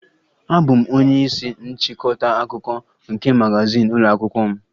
Abụ m onye isi nchịkọta akụkọ nke magazin ụlọ akwụkwọ m